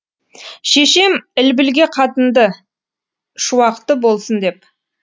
шешем ілбілге қатынды шуақты болсын деп